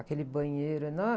Aquele banheiro enorme.